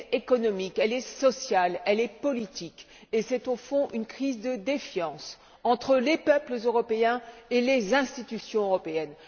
Elle est économique, elle est sociale, elle est politique, et c'est, au fond, une crise de défiance entre les peuples européens et les institutions européennes.